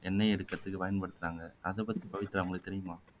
எண்ணெய் எடுக்குறதுக்கு பயன்படுத்துறாங்க அதைப்பத்தி பவித்ரா உங்களுக்கு தெரியுமா